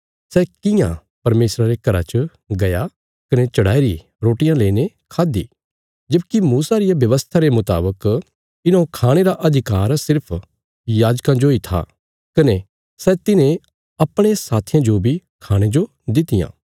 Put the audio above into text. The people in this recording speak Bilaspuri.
सै कियां परमेशरा रे घरा च गया कने चढ़ाईरी रोटियां लेईने खाद्दि जबकि मूसा रिया व्यवस्था रे मुतावक इन्हौं खाणे रा अधिकार सिर्फ याजकां जोई था कने सै तिन्हें अपणे साथियां जो बी खाणे जो दित्तियां